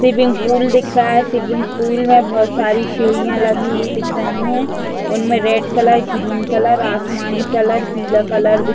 swimming pool दिख रहा है स्विमिंग पूल में बहुत सारी सीढ़ियां लगी हुई दिख रही है उनमें रेड कलर ग्रीन कलर आसमानी कलर पीला कलर दिख --